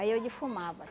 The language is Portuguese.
Aí eu defumava